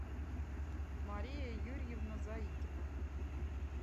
мария юрьевна заикина